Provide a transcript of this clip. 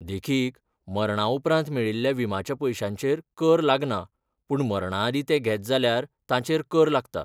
देखीक, मरणाउपरांत मेळिल्ल्या विम्याच्या पयशांचेर कर लागना पूण मरणाआदीं ते घेत जाल्यार तांचेर कर लागता.